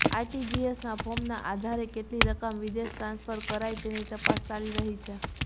આરટીજીએસના ફોર્મના આધારે કેટલી રકમ વિદેશ ટ્રાન્સફર કરાઇ તેની તપાસ ચાલી રહી છે